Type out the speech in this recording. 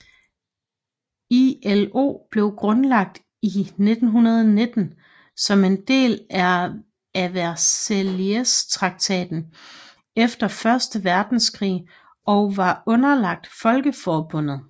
ILO blev grundlagt i 1919 som en del af Versaillestraktaten efter første verdenskrig og var underlagt Folkeforbundet